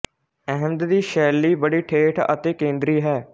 ਅਹਿਮਦ ਦੀ ਸ਼ੈਲੀ ਬੜੀ ਠੇਠ ਅਤੇ ਕੇਂਦਰੀ ਹੈ